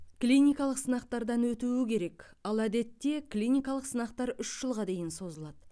клиникалық сынақтардан өтуі керек ал әдетте клиникалық сынақтар үш жылға дейін созылады